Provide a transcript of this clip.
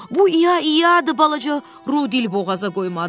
Bu İya-iyadır, balaca Ru dil boğaza qoymadı.